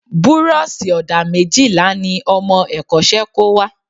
Burọ̀ṣì ọ̀dà méjìlá ni ọmọ ẹ̀kọ́ṣẹ́ kó wá